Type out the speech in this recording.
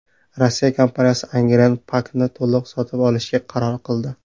Rossiya kompaniyasi Angren Pack’ni to‘liq sotib olishga qaror qildi.